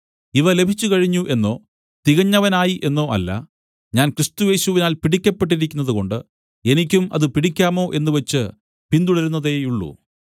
ഇവ ലഭിച്ചുകഴിഞ്ഞു എന്നോ തികഞ്ഞവനായി എന്നോ അല്ല ഞാൻ ക്രിസ്തുയേശുവിനാൽ പിടിക്കപ്പെട്ടിരിക്കുന്നതുകൊണ്ട് എനിക്കും അത് പിടിക്കാമോ എന്നുവച്ച് പിന്തുടരുന്നതേയുള്ളു